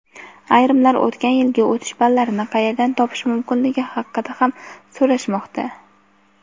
Ayrimlar o‘tgan yilgi o‘tish ballarini qayerdan topish mumkinligi haqida ham so‘rashmoqda.